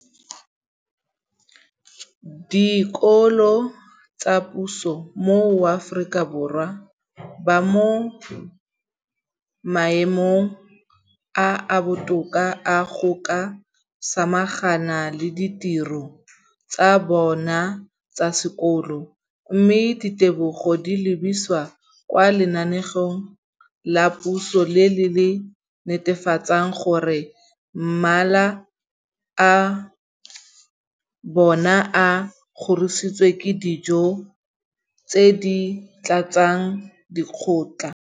dikolo tsa puso mo Aforika Borwa ba mo maemong a a botoka a go ka samagana le ditiro tsa bona tsa sekolo, mme ditebogo di lebisiwa kwa lenaaneng la puso le le netefatsang gore mala a bona a kgorisitswe ka dijo tse di tletseng dikotla.